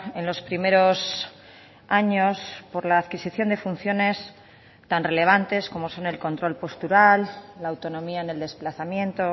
en los primeros años por la adquisición de funciones tan relevantes como son el control postural la autonomía en el desplazamiento